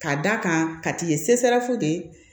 Ka d'a kan ka t'i ye